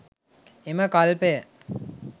එම කල්පය